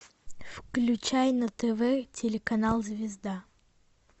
включай на тв телеканал звезда